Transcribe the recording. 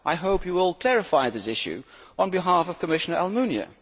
I hope you will clarify this issue on behalf of Commissioner Almunia.